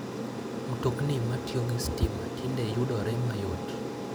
Mtokni matiyo gi stima tinde yudore mayot.